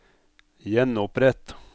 gjenopprett